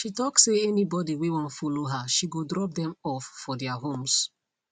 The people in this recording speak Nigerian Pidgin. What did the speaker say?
she talk say anybody whey wan follow her she go drop them off for their homes